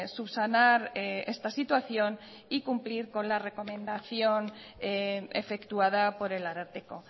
subsanar esta situación y cumplir con la recomendación efectuada por el ararteko